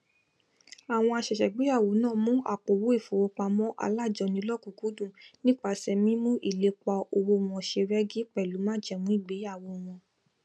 àwọn àsẹsẹgbéyàwó náà mu àpòowó ìfowópamọ alájọni lọkùnúnkúndùn nípasẹ mímú ìlépa owó wọn ṣe rẹgí pẹlú májẹmú ìgbeyàwó wọn